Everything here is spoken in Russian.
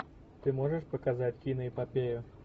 ты можешь показать киноэпопею